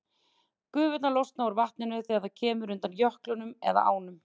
Gufurnar losna úr vatninu þegar það kemur undan jöklinum með ánum.